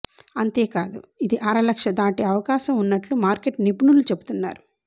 అంతేకాదు ఇది అరలక్ష దాటే అవకాశం ఉన్నట్లు మార్కెట్ నిపుణులు చెబుతున్నారు